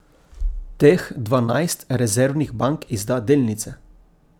Teh dvanajst rezervnih bank izda delnice.